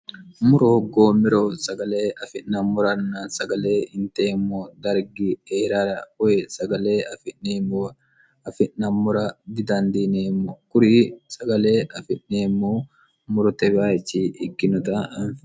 murohoggoommero sagale afi'nammoranna sagale hinteemmo dargi eirar oy sagale afi'neemmo afi'nammora didandiineemmo kuri sagale afi'neemmo morotewayichi ikkinota